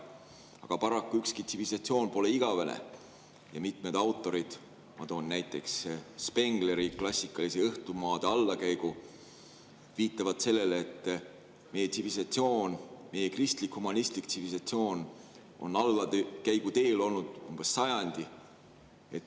Aga paraku pole ükski tsivilisatsioon igavene ja mitmed autorid – ma toon näiteks Spengleri klassikalise "Õhtumaa allakäigu" – viitavad sellele, et meie tsivilisatsioon, meie kristlik-humanistlik tsivilisatsioon on allakäigu teel olnud umbes sajandi.